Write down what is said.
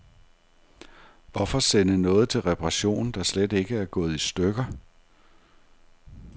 Hvorfor sende noget til reparation, der slet ikke er gået i stykker.